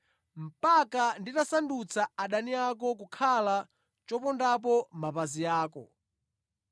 mpaka nditasandutsa adani ako kukhala chopondapo mapazi ako.’